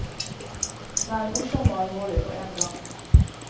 Den er morsom og alvorlig på en gang.